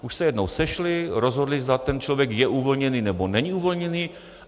Už se jednou sešli, rozhodli, zda ten člověk je uvolněný, nebo není uvolněný.